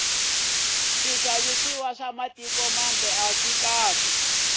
swixavisiwa swa mitiko mambe aswikahle